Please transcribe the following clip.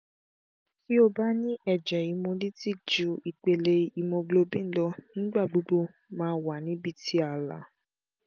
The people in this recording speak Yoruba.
ti o ba ni ẹjẹ hemolytic ju ipele haemoglobin lọ nigba gbogbo maa wa ni ibi ti aala